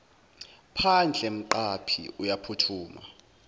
phandle umqaphi uyaphuthuma